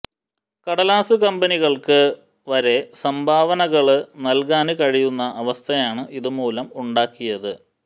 കടലാസ് കമ്പനികള്ക്ക് വരെ സംഭാവനകള് നല്കാന് കഴിയുന്ന അവസ്ഥയാണ് ഇതുമൂലം ഉണ്ടാക്കിയത്